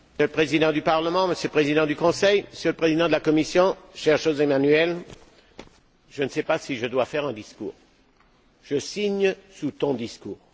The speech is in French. Monsieur le Président du Parlement, Monsieur le Président du Conseil, Monsieur le Président de la Commission, cher José Manuel, je ne sais pas si je dois faire un discours je signe sous ton discours!